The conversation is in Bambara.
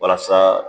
Walasa